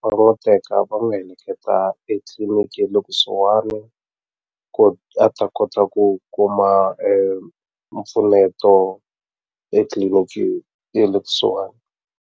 va n'wu teka va n'wu heleketa etliliniki ye le kusuhani ku a ta kota ku kuma mpfuneto etliliniki ye le kusuhani.